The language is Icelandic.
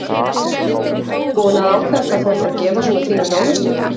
Boði: Búin að ákveða hvað þú ætlar að gefa svona þínum nánustu?